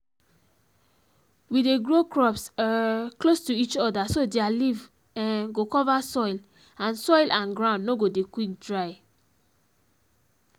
we dey grow crops um close to each other so their leaf um go cover soil and soil and ground no go dey quick dry